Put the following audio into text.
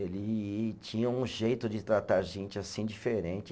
Ele tinha um jeito de tratar a gente assim, diferente.